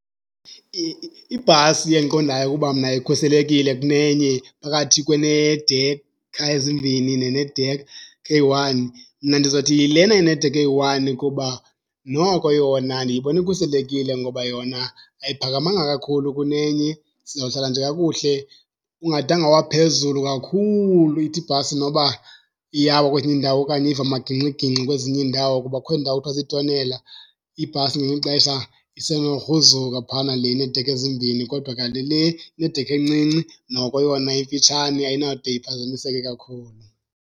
Ibhasi endiqondayo ukuba mna ikhuselekile kunenye phakathi kweneedekha ezimbini nenedekha eyi-one, mna ndizothi yilena inedekha eyi-one kuba noko yona ndiyibona ikhuselekile ngoba yona ayiphakamanga kakhulu kunenye. Sizawuhlala nje kakuhle ungadanga waphezulu kakhulu, ithi ibhasi noba iyawa kwezinye iindawo okanye iva amagingxigingxi kwezinye iindawo. Kuba kukhona iindawo ekuthiwa ziitonela, ibhasi ngelinye ixesha isenogruzuka phayana le ineedekha ezimbini kodwa kanti le inedekha encinci noko yona emfitshane, ayinawude iphazamiseke kakhulu.